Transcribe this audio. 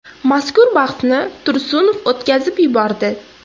Mazkur bahsni Tursunov o‘tkazib yubordi.